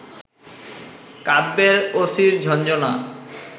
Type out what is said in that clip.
কাব্যে অসির ঝনঝনা